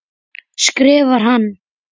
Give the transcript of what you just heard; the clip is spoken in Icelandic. skrifar hann.